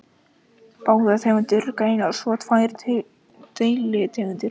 Báðar tegundirnar greinast svo í tvær deilitegundir.